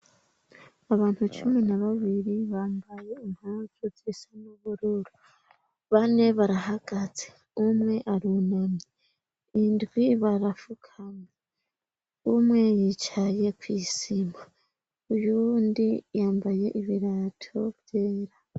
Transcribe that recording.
Abantu cumi na babiri bambaye impavu zisa n'ubururu bane barahagaze umwe arunami indwi barafukama umwe yicaye kw'isima uyundi yambaye ibirato vyera.